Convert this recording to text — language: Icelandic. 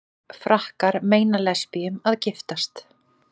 Frakkar meina lesbíum að giftast